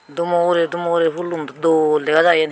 dumo urer dumo urer phoolun dol dega jaai yen.